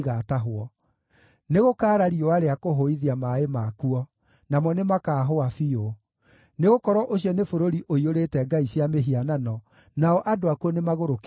Nĩgũkaara riũa rĩa kũhũithia maaĩ makuo! Namo nĩmakaahũa biũ. Nĩgũkorwo ũcio nĩ bũrũri ũiyũrĩte ngai cia mĩhianano, nao andũ akuo nĩmagũrũkĩtio nĩyo.